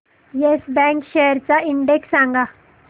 yes bank shares चा index सांगा